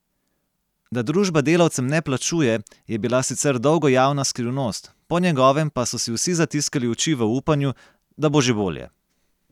Da družba delavcem ne plačuje, je bila sicer dolgo javna skrivnost, po njegovem pa so si vsi zatiskali oči v upanju, da bo že bolje.